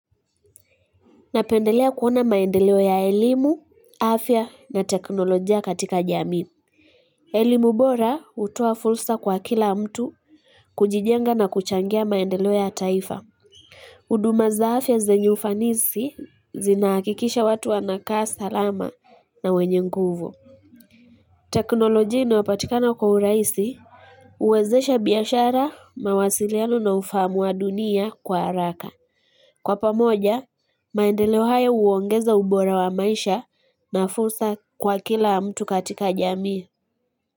Napendelea kuona maendeleo ya elimu, afya na teknolojia katika jamii. Elimu bora hutuoa fursa kwa kila mtu kujijenga na kuchangia maendeleo ya taifa. Uduma za afya zenye ufanisi zinaakikisha watu wanakaa sa lama na wenye nguvu. Teknolojia inayopatikana kwa uraisi uwezesha biashara mawasiliano na ufahamu wa dunia kwa haraka. Kwa pamoja, maendeleo hayo huongeza ubora wa maisha na fursa kwa kila mtu katika jamii.